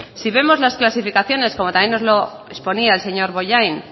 si vemos las clasificaciones como también nos lo exponía el señor bollain